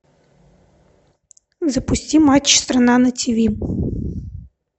запусти матч страна на тиви